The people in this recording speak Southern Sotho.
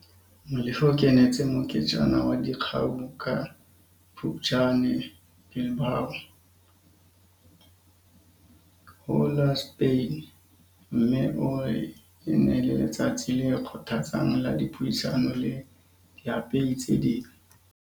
Molefe o kenetse moketjana wa dikgau ka Phuptjane Bilbao, ho la Spain, mme o re e ne e le letsatsi le kgothatsang la dipuisano le diapehi tse ding.